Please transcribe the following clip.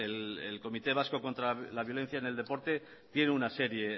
el comité vasco contra la violencia en el deporte tiene una serie